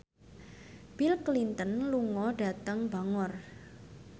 Bill Clinton lunga dhateng Bangor